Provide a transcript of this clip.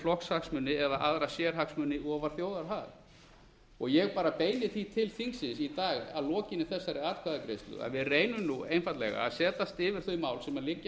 flokkshagsmuni eða aðra sérhagsmuni ofar þjóðarhag og ég beini því til þingsins í dag að lokinni þessari atkvæðagreiðslu að við reynum einfaldlega að setjast yfir þau mál sem liggja